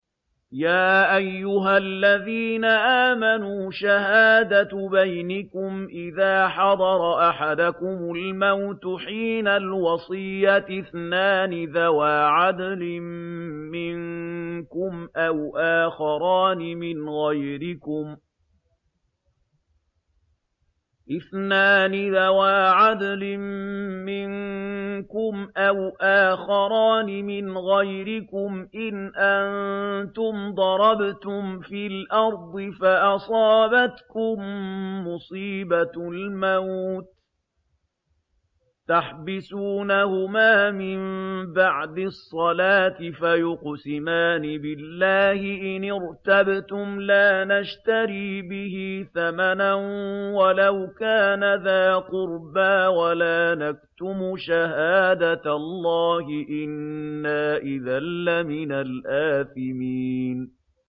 يَا أَيُّهَا الَّذِينَ آمَنُوا شَهَادَةُ بَيْنِكُمْ إِذَا حَضَرَ أَحَدَكُمُ الْمَوْتُ حِينَ الْوَصِيَّةِ اثْنَانِ ذَوَا عَدْلٍ مِّنكُمْ أَوْ آخَرَانِ مِنْ غَيْرِكُمْ إِنْ أَنتُمْ ضَرَبْتُمْ فِي الْأَرْضِ فَأَصَابَتْكُم مُّصِيبَةُ الْمَوْتِ ۚ تَحْبِسُونَهُمَا مِن بَعْدِ الصَّلَاةِ فَيُقْسِمَانِ بِاللَّهِ إِنِ ارْتَبْتُمْ لَا نَشْتَرِي بِهِ ثَمَنًا وَلَوْ كَانَ ذَا قُرْبَىٰ ۙ وَلَا نَكْتُمُ شَهَادَةَ اللَّهِ إِنَّا إِذًا لَّمِنَ الْآثِمِينَ